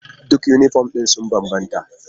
Duk yunifom ɗin sun bambanta.